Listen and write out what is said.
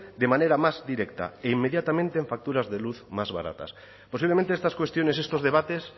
de manera más directa e inmediatamente en facturas de luz más baratas posiblemente estas cuestiones estos debates